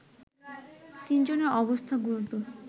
তিনজনের অবস্থা গুরুতর